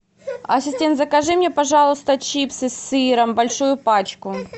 ассистент закажи мне пожалуйста чипсы с сыром большую пачку